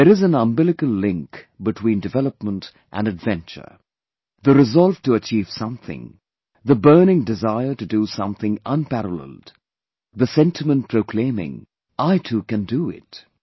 There is an umbilical link between development and adventure; the resolve to achieve something, the burning desire to do something unparalleled, the sentiment proclaiming "I too can do it"